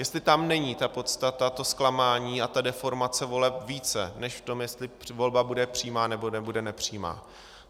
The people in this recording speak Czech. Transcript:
Jestli tam není ta podstata, to zklamání a ta deformace voleb více než v tom, jestli volba bude přímá, nebo bude nepřímá.